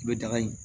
I bɛ daga in